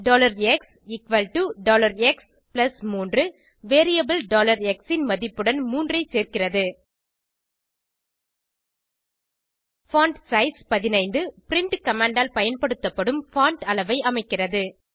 xx3 variable x ன் மதிப்புடன் 3 ஐ சேர்க்கிறது பான்ட்சைஸ் 15 பிரின்ட் கமாண்ட் ஆல் பயன்படுத்தப்படும் பான்ட் அளவை அமைக்கிறது